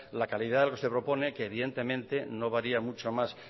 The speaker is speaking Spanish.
la calidad que se propone que evidentemente no varía mucho más